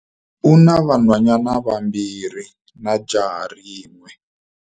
U na vanhwanyana vambirhi na jaha rin'we.